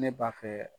Ne b'a fɛ